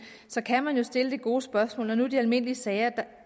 så kan man jo stille det gode spørgsmål når det de almindelige sager